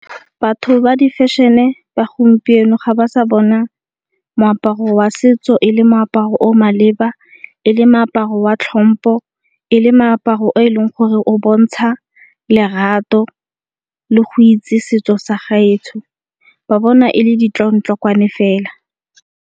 Batho ba di fashion-e ba gompieno ga ba sa bona moaparo wa setso e le moaparo o maleba, e le moaparo wa tlhompho, e le moaparo o e leng gore o bontsha lerato le go itse setso sa gaetsho. Ba bona e le ditlong-tlokwane fela.